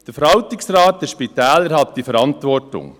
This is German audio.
Der Verwaltungsrat der Spitäler hat die Verantwortung.